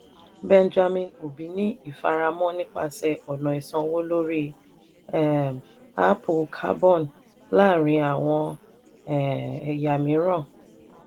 benjamin obi ní ìfàmọ́ra nípasẹ̀ ọ̀nà ìsanwó lórí um áápù carbon láàárín àwọn um ẹ̀yà mìíràn. "